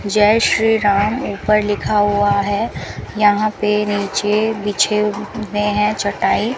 जय श्री राम ऊपर लिखा हुआ है यहां पे नीचे बिछे हुए हैं चटाई --